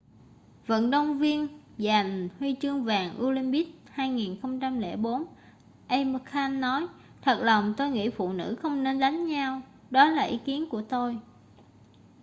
vận động viên giành huy chương bạc olympic 2004 amir khan nói thật lòng tôi nghĩ phụ nữ không nên đánh nhau đó là ý kiến của tôi